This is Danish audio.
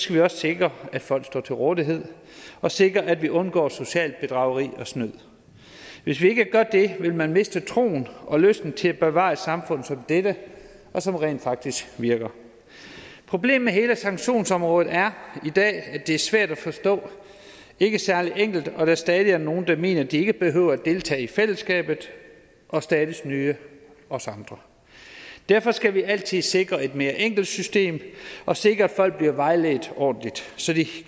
vi også sikre at folk står til rådighed og sikre at vi undgår socialt bedrageri og snyd hvis ikke gør det vil man miste troen og lysten til at bevare et samfund som dette som rent faktisk virker problemet med hele sanktionsområdet er i dag at det er svært at forstå ikke særlig enkelt og at der stadig er nogle der mener at de ikke behøver at deltage i fællesskabet og stadig snyde os andre derfor skal vi altid sikre et mere enkelt system og sikre at folk bliver vejledt ordentligt så de